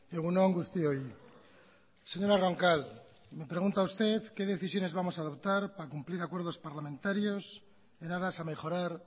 egun on guztioi señora roncal me pregunta usted qué decisiones vamos a adoptar para cumplir acuerdos parlamentarios en aras a mejorar